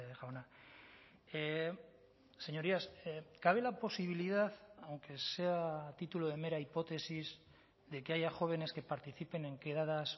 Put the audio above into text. jauna señorías cabe la posibilidad aunque sea a título de mera hipótesis de que haya jóvenes que participen en quedadas